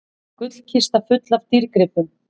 Gullkista full af dýrgripum